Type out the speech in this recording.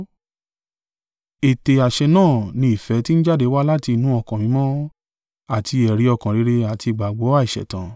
Ète àṣẹ náà ni ìfẹ́ ti ń jáde wá láti inú ọkàn mímọ́ àti ẹ̀rí ọkàn rere àti ìgbàgbọ́ àìṣẹ̀tàn.